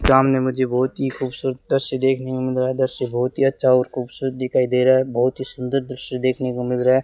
सामने मुझे बहुत ही खूबसूरत दृश्य देखने में मिल रहा है दृश्य बहुत ही अच्छा और खूबसूरत दिखाई दे रहा है बहुत ही सुंदर दृश्य देखने को मिल रहा है।